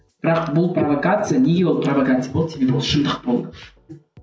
бірақ бұл провокация неге ол провокация болды себебі ол шындық болды